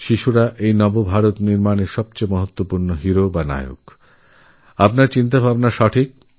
শিশুরাই হলনব ভারত নির্মাণের সবথেকে গুরুত্বপূর্ণ অঙ্গ আগামীদিনের নায়ক